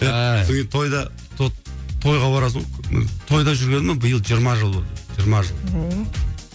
ааа содан кейін тойда сол тойға барасың ғой тойда жүргеніме биыл жиырма жыл болды жиырма жыл ооо